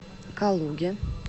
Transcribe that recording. калуге